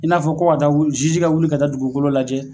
I n'a fɔ ko ka taa jiji ka wuli ka taa dugukolo lajɛ.